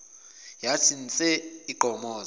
yathi nse igqomoza